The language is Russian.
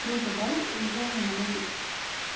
круто да женя молодец